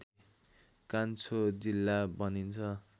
कान्छो जिल्ला भनिन्छ